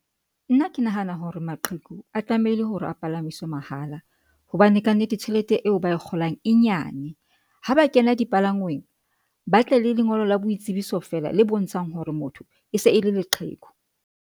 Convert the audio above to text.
Nna ke nahana hore maqheku a tlamehile hore a palamiswe mahala hobane kannete tjhelete eo ba e kgolang e nyane ha ba kena dipalangweng, ba tle le lengolo la boitsebiso feela le bontshang hore motho e se e le leqheku.